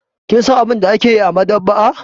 Kin san abin da ake yi a maɗaba'a?